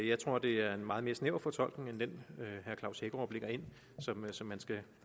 jeg tror det er en meget mere snæver fortolkning end den herre klaus hækkerup lægger ind som man skal